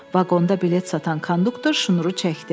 Vaqonda bilet satan konduktor şnuru çəkdi.